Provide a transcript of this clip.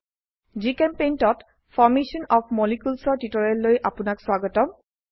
জিচেম্পেইণ্ট ত formation of molecules ৰ টিউটোৰিয়েললৈ আপোনাক স্বাগতম